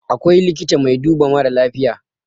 akwai likita mai duba mara lafiya